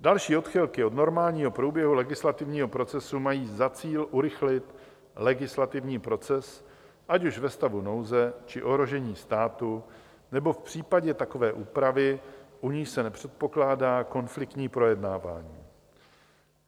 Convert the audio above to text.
Další odchylky od normálního průběhu legislativního procesu mají za cíl urychlit legislativní proces, ať už ve stavu nouze, či ohrožení státu, nebo v případě takové úpravy, u níž se nepředpokládá konfliktní projednávání.